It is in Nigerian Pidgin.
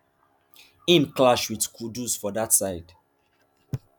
im clash wit kudus for dat side